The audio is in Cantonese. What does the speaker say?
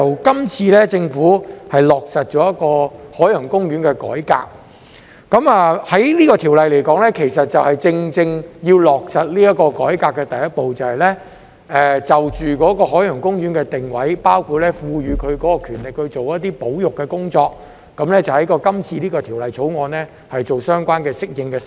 今次，政府落實了海洋公園的改革，而《條例草案》其實正正是落實這個改革的第一步，就着海洋公園的定位，包括賦予其權力進行一些保育工作，在今次的《條例草案》中作出相關的適應修訂。